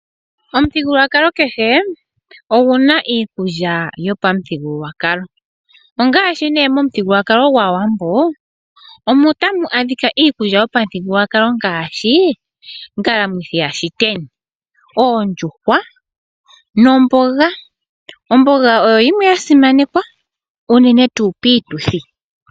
Omuthigululwakalo kehe oguna iikulya yopamuthigululwakalo, ongaashi nee momuthigululwakalo gwAawambo omo tamu adhika iikulya yopamuthigululwakalo ngaashi: ongalamuthi yashiteni, oondjuhwa nomboga. Omboga oyo yimwe ya simanekwa unene tuu piituthi.